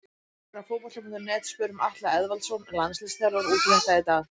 Við hér á Fótbolti.net spurðum Atla Eðvaldsson landsliðsþjálfara út í þetta í dag.